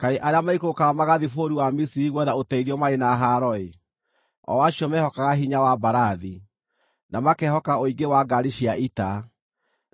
Kaĩ arĩa maikũrũkaga magathiĩ bũrũri wa Misiri gwetha ũteithio marĩ na haaro-ĩ, o acio mehokaga hinya wa mbarathi, na makehoka ũingĩ wa ngaari cia ita,